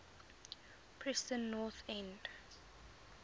preston north end